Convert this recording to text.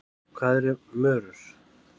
Hvað eru mörur?